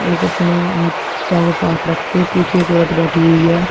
एक अपने हाथ पे हाथ रख के पीछे एक औरत बैठी हुई है।